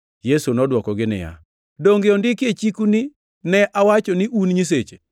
Yesu nodwokogi niya, “Donge ondiki e chiku ni, ‘Ne awacho ni un “nyiseche” ’+ 10:34 \+xt Zab 82:6\+xt* ?